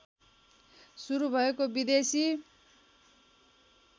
सुरु भएको विदेशी